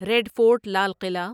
red Fort لال قلعہ